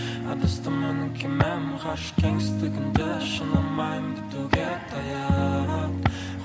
адасты менің кемем ғарыш кеністігінде жанармайым бітуге таяп